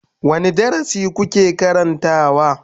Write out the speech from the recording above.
Wane darasi kuke karantawa?